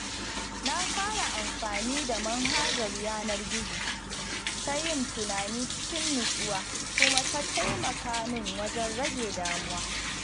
Na fara amfani da manhajar yanar gizo ta yin tunani cikin natsuwa kuma ta taimaka min wajen rage damuwa.